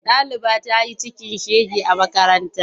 Ɗaliba ta yi cikin shega a makaranta.